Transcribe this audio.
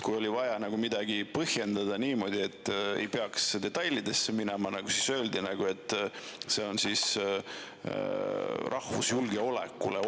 Kui oli vaja midagi põhjendada niimoodi, et ei peaks detailidesse minema, siis öeldi, et see on oht rahvuslikule julgeolekule.